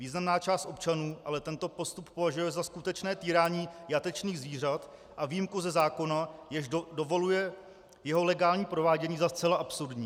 Významná část občanů ale tento postup považuje za skutečné týrání jatečných zvířat a výjimku ze zákona, jež dovoluje jeho legální provádění, za zcela absurdní.